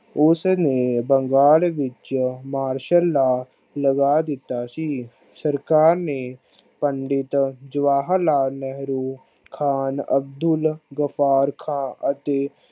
ਉਸ ਨੂੰ ਬੰਗਾਲ ਵਿਚ marshall ਦਾ ਲਗਾ ਦਿੱਤੋ ਸੀ ਸਰਕਾਰ ਨੇ ਪੰਡਿਤ ਜਵਾਹਰ ਲਾਲ ਨਹਿਰੂ ਖਾਨ ਅਬਦੁਲ ਬਬਾਰ ਖਾਨ ਅਤੇ